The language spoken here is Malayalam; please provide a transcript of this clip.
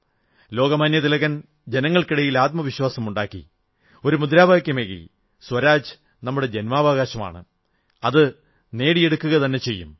ലോകമാന്യതിലകൻ ജനങ്ങൾക്കിടയിൽ ആത്മവിശ്വാസമുണ്ടാക്കി ഒരു മുദ്രാവാക്യമേകി സ്വരാജ് നമ്മുടെ ജന്മാവകാശമാണ് അത് നേടിയെടുക്കുകതന്നെ ചെയ്യും